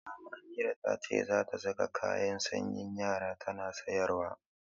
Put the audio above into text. Maman Amira ta ce za ta saƙa kayan sanyin yara tana sayarwa.